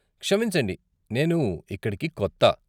క్షమించండి, నేను ఇక్కడికి కొత్త.